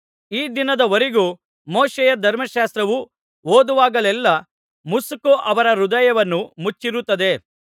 ಈ ದಿನದವರೆಗೂ ಮೋಶೆಯ ಧರ್ಮಶಾಸ್ತ್ರವು ಓದುವಾಗೆಲ್ಲಾ ಮುಸುಕು ಅವರ ಹೃದಯವನ್ನು ಮುಚ್ಚಿರುತ್ತದೆ